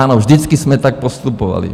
Ano, vždycky jsme tak postupovali.